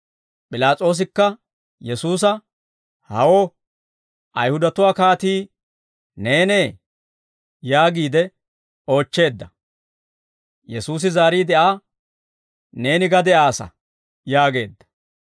P'ilaas'oosikka Yesuusa, «Hawo, Ayihudatuwaa kaatii neenee?» yaagiide oochcheedda. Yesuusi zaariide Aa, «Neeni ga de'aassa» yaageedda.